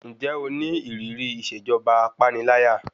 Ǹjẹ́ o ní ìrírí ìṣèjọba apániláyà?